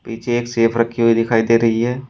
पीछे एक सेफ रखी हुई दिखाई दे रही है।